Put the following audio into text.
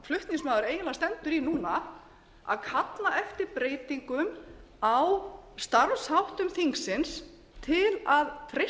flutningsmaður eiginlega stendur í núna að kalla eftir breytingum á starfsháttum þingsins til að